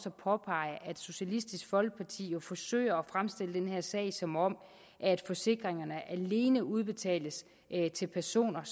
at påpege at socialistisk folkeparti jo forsøger at fremstille den her sag som om forsikringerne alene udbetales til personer